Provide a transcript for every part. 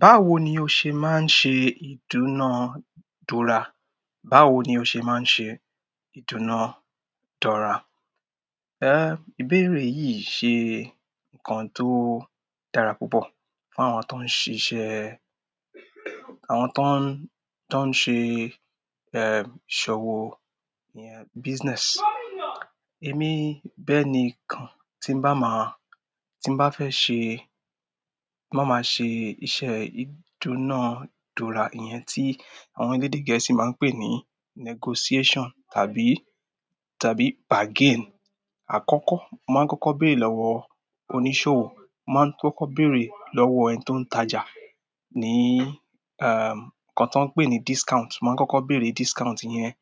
Báwo ni o ṣe máa ń ṣe ìdúnádúrà? Báwo ni o ṣe máa ń ṣe ìdúnàádúrà? Eh, ìbéèrè yìí ṣe nǹkan tó dára púpọ̀ fún àwọn tó ń ṣiṣẹ́, àwọn tó ń, tó ń ṣe, eh, ìṣòwò ìyẹn business. Èmi bẹ́ẹ̀ ni kan, tí mo bá máa, tí mo bá fẹ́ ṣe, tí mo bá máa ṣe iṣẹ́ ìdúnàádúrà, ìyẹn tí àwọn elédè gẹ̀ẹ́sì máa ń pè ní negotiation tàbí, tàbí bargain. Àkọ́kọ́, mo máa ń kọ́kọ́ bèrè lọ́wọ́ oníṣòwò. Mo ma n koko bere lowo ẹni to ta ja ni ehn nkan ti won pe ni discount, mo ma n koko bere discount iyen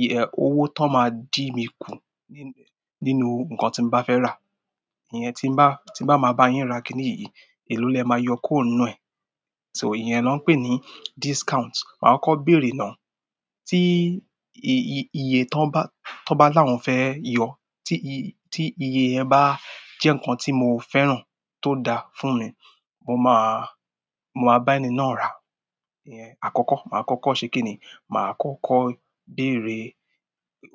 iye owó tó máa dí mi kù nínú, nínú nǹkan tí mo bá fẹ́ rà. Iyen tin ba, tin ba ma ba yin ra kiniyi, elo le ma yo kúrò nínú e. So ìyẹn ni wọ́n ń pè ní discount. Mo máa kọ́kọ́ bèrè náà. Tí iye tó bá, tó bá láwọn fẹ́ yọ, tí iye, tí iye yẹn bá jẹ́ nǹkan tí mo fẹ́ràn tó da fún mi, mo máa, mo máa bá ẹni náà ra. Ìyẹn àkọ́kọ́, màá kọ́kọ́ ṣe kíni, màá kọ́kọ́ bèrè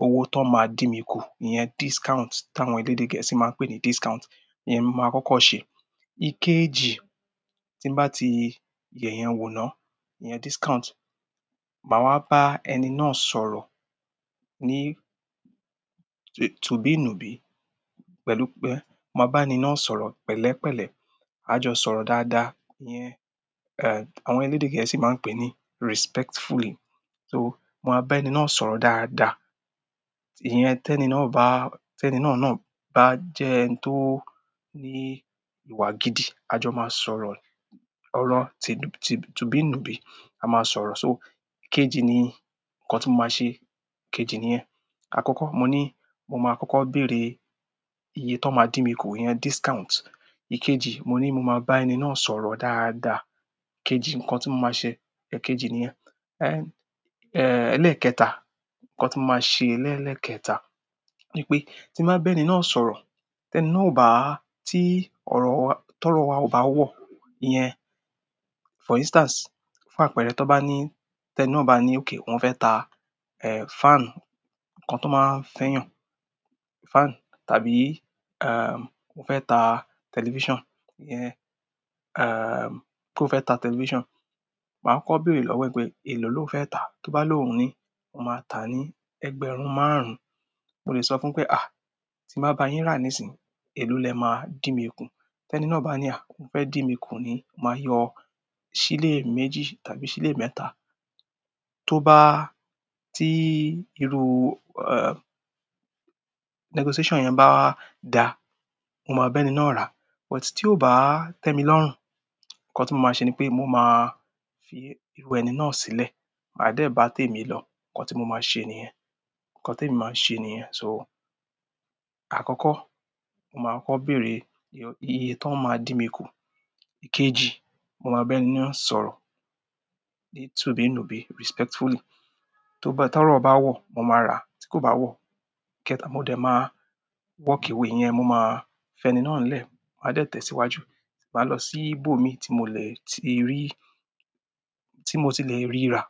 owó tó máa dí mi kù, ìyẹn discount, tí àwọn elédè gẹ̀ẹ́sì máa ń pè ní discount. Ìyẹn mo máa kọ́kọ́ ṣe. Ikeji tín bá ti ye yẹn wò náà, ìyẹn discount, màá wá bá ẹni náà sọ̀rọ̀ ní tùbí nùbí pẹ̀lú pé, mo máa bá ẹni náà sọ̀rọ̀ pẹ̀lẹ́ pẹ̀lẹ́. A jọ sọ̀rọ̀ dáadáa. Ìyẹn, eh, àwọn elédè gẹ̀ẹ́sì máa ń pè ní respectfully. So, mo máa bá ẹni náà sọ̀rọ̀ dáadáa. Ìyẹn, tíẹni náà bá, tí ẹni náà náà bá jẹ́ ẹni tó ní ìwà gidi, a jọ máa sọ̀rọ̀, ọ̀rọ̀ tùbí nùbí. A máa sọ̀rọ̀. So ikeji ni nǹkan tí mo máa ṣe. Ikeji ni ẹ. Àkọ́kọ́, mo ní mo máa kọ́kọ́ bèrè iye tó máa dí mi kù, ìyẹn discount. Ikeji, mo ní mo máa bá ẹni náà sọ̀rọ̀ dáadáa. Ikeji, nǹkan tí mo máa ṣe ikeji niyẹn. Eh, ẹlẹ́ẹ̀kẹta, nǹkan tí mo máa ṣe lẹlẹ́ẹ̀kẹta ni pé tí mo bá ẹni náà sọ̀rọ̀, tí ẹni náà ò bá, tí ọ̀rọ̀ wa, tí ọ̀rọ̀ wa ò bá wọ̀, ìyẹn for instance, fún àpẹẹrẹ, tí ó bá ní, tí ẹni náà bá ní "Okay, mo fẹ́ ta, eh, fan", nǹkan tó máa ń fẹ́ yàn fan tàbí, eh, ó fẹ́ ta tẹlifíṣàn, ìyẹn, eh, kí ó fẹ́ ta tẹlifíṣàn, màá kọ́kọ́ bèrè lọ́wọ́ ẹ pé èló ló fẹ́ ta? Tí ó bá ló òun ní "Mo máa ta ní ẹgbẹ̀rún márùn-ún", mo lè sọ fún pé "Àí, tí n ba bá yín rà níìsín, èló lẹ máa dí mi kù?" Teni na ba ni, oun fe din ni kuni, mo ma yo sile méjì tàbí sile mẹ́ta tó bá tí irú, eh, negotiation yẹn bá da, mo máa bá ẹni náà rà. But tí ó bá tẹ́ mi lọ́rùn, nǹkan tí mo máa ṣe ni pé mo máa fi irú ẹni náà sílẹ̀. Màá dẹ̀ bá tèmi lọ. Ǹkan tí mo máa ṣe ní yẹn. Ǹkan tí èmi máa ṣe ní yẹn. So àkọ́kọ́, mo máa kọ́kọ́ bèrè iye tó máa dí mi kù. Ikeji, mo máa bá ẹni náà sọ̀rọ̀ ní tùbí nùbí, respectfully. Tọ̀rọ̀ bá wọ̀, mo máa rà. To bá wọ̀, kẹta, mo dẹ̀ máa walknaway ìyẹn, mo máa fẹ́ ẹni náà nílẹ̀. Máa dẹ̀ tẹ̀síwájú. Máa lọ sí ibòmí tí mo lè ti rí, tí mo sì lè ríra.